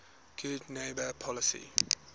good neighbor policy